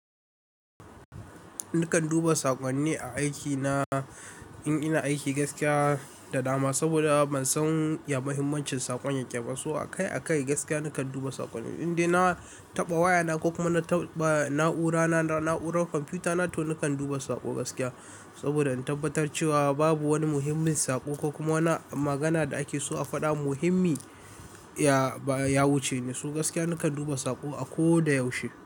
Nakan duba saƙonni a aikina in ina aiki gaskiya da dama, saboda ban san ya muhimmancin saƙon yake ba. So akai akai gaskiya nakan duba saƙonni. Indai na taɓa wayana ko kuma na taɓa na'ura na, na'urar kwamfuta na to nakan duba saƙo gaskiya. Saboda in tabbatar cewa babu wani muhimmin saƙo ko kuma wani magana da ake so a faɗa muhimmi ya wuce ni. So gaskiya nakan duba saƙo a ko da yaushe.